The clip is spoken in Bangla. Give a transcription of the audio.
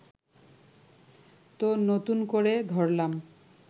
তো নতুন করে ধরলাম